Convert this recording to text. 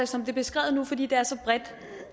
som det er beskrevet nu fordi det er så bredt